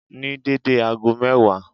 Ní dédé ago mẹ́wàá